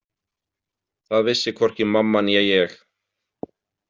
Það vissi hvorki mamma né ég.